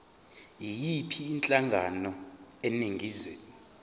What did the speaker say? yiyiphi inhlangano eningizimu